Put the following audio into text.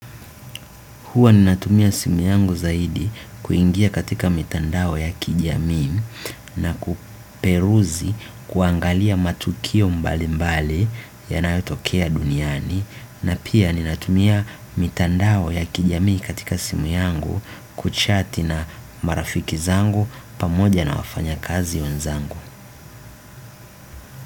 Huwa ninatumia simu yangu zaidi kuingia katika mitandao ya kijamii na kuperuzi kuangalia matukio mbali mbali yanayotokea duniani na pia ninatumia mitandao ya kijamii katika simu yangu kuchati na marafiki zangu pamoja na wafanya kazi wenzangu.